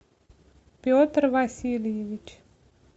петр васильевич